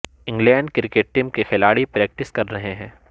England cricket team کے کھلاڑی practice کر رہے ہیں